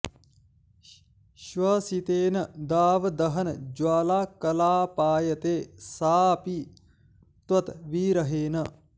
श्वसितेन दाव दहन ज्वाला कलापायते सा अपि त्वत् विरहेण